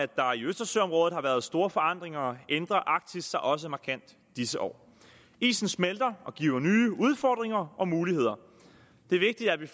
der i østersøområdet har været store forandringer ændrer arktis sig også markant disse år isen smelter og giver nye udfordringer og muligheder det er vigtigt at vi